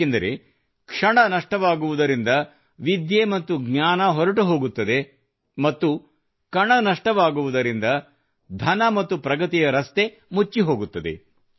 ಏಕೆಂದರೆ ಕ್ಷಣ ನಷ್ಟವಾಗುವುದರಿಂದ ವಿದ್ಯೆ ಹಾಗೂ ಜ್ಞಾನ ಹೊರಟುಹೋಗುತ್ತದೆ ಮತ್ತು ಕಣ ನಷ್ಟವಾಗುವುದರಿಂದ ಧನ ಮತ್ತು ಪ್ರಗತಿಯ ರಸ್ತೆ ಮುಚ್ಚಿಹೋಗುತ್ತದೆ